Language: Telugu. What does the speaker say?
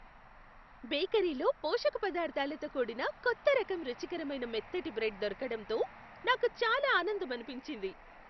బేకరీలో పోషక పదార్ధాలతో కూడిన కొత్త రకం రుచికరమైన మొత్తటి బ్రెడ్ దొరకడంతో నాకు చాలా ఆనందమనిపించింది.